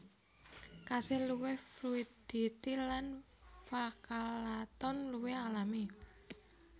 Kasil luwih fluiditi lan pachalaton luwih alami